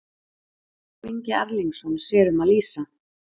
Adolf Ingi Erlingsson sér um að lýsa.